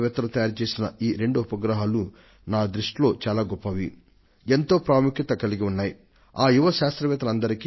విద్యార్థులు తయారు చేసిన ఐ ఎస్ ఆర్ ఒ ప్రయోగించిన ఈ రెండు ఉపగ్రహాలు ఎంతో ప్రాముఖ్యం గలవీ అత్యంత విలువైనవీనూ